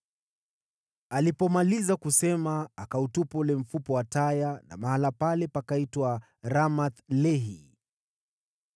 Alipomaliza kusema, akautupa ule mfupa wa taya; na mahali pale pakaitwa Ramath-Lehi.